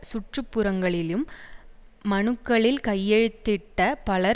சுற்றுப்புறங்களிலும் மனுக்களில் கையெழுத்திட்ட பலர்